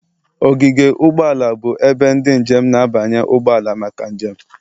Ogige ụgbọ ala bụ ebe ndị njem na-abanye ụgbọ ala maka njem